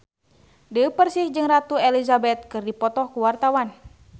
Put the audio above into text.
Dewi Persik jeung Ratu Elizabeth keur dipoto ku wartawan